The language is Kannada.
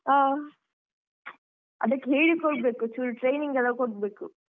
ಹಾ ಅದ್ಕೆ ಹೇಳಿ ಕೊಡ್ಬೇಕು ಚುರ್ training ಎಲ್ಲ ಕೊಡ್ಬೇಕು.